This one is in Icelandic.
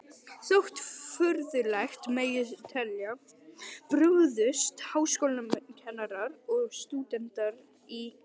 Þótt furðulegt megi telja, brugðust háskólakennarar og stúdentar í